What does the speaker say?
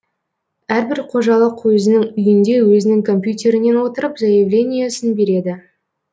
әр бір қожалық өзінің үйінде өзінің компьютерінен отырып заявлениесін береді